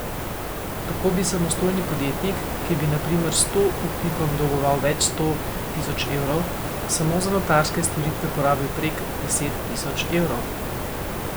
Tako bi samostojni podjetnik, ki bi na primer sto upnikom dolgoval več sto tisoč evrov, samo za notarske storitve porabil prek deset tisoč evrov.